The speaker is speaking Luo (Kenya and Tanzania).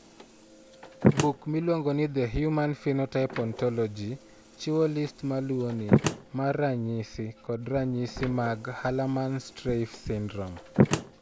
Buk miluongo ni The Human Phenotype Ontology chiwo list ma luwoni mar ranyisi kod ranyisi mag Hallermann Streiff syndrome.